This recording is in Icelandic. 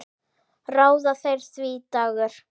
Ráða þeir því, Dagur?